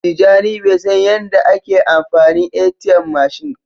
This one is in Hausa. Tijani Bai san Yan da a ke amfani ATM mashin.